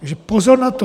Takže pozor na to.